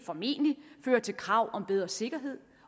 formentlig føre til krav om bedre sikkerhed